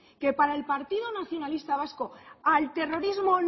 que para el partido nacionalista vasco al terrorismo